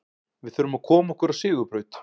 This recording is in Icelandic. Við þurfum að koma okkur á sigurbraut.